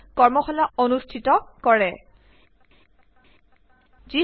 তলত থকা লিঙ্ক বিলাকত উপলব্ধ ভিডিঅ ফাইলবোৰ চাওক